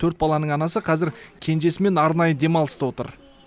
төрт баланың анасы қазір кенжесімен арнайы демалыста отыр